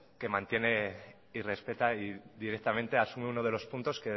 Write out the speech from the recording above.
que mantiene y respeta y directamente asume uno de los puntos